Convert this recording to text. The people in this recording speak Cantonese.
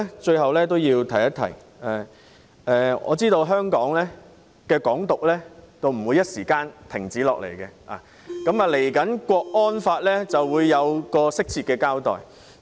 最後，主席，我知道"港獨"短時間不會消停，接下來的港區國安法將會有適切的交代。